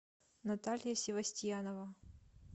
наталья севостьянова